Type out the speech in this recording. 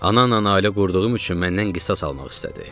Ananla ailə qurduğum üçün məndən qisas almaq istədi.